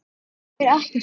Ég er ekkert feimin.